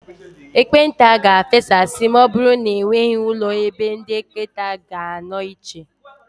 Ekpenta ga-efesasị ma ọbụrụ na enweghị ụlọ ebe ndị ekpenta ga-anọ iche.